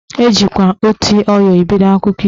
Ejikwa "oti ọyọ " ebido akụkọ ifo